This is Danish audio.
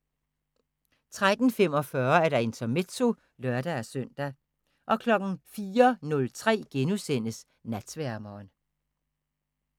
03:45: Intermezzo (lør-søn) 04:03: Natsværmeren *